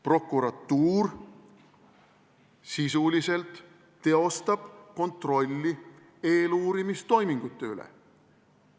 Prokuratuur sisuliselt teostab kontrolli eeluurimistoimingute üle.